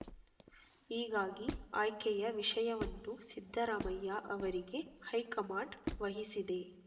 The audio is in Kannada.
ಹೀಗಾಗಿ ಆಯ್ಕೆಯ ವಿಷಯವನ್ನು ಸಿದ್ದರಾಮಯ್ಯ ಅವರಿಗೆ ಹೈಕಮಾಂಡ್ ವಹಿಸಿದೆ